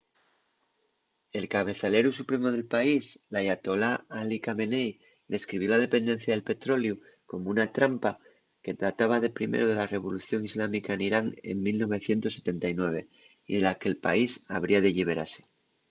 el cabezaleru supremu del país l’ayatolá ali khamenei describió la dependencia del petroleu como una trampa” que databa de primero de la revolución islámica n’irán en 1979 y de la que’l país habría de lliberase